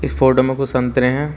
Photo में कुछ संतरे हैं।